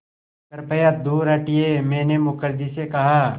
कृपया दूर हटिये मैंने मुखर्जी से कहा